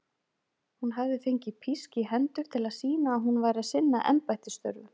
Hún hafði fengið písk í hendur til að sýna að hún væri að sinna embættisstörfum.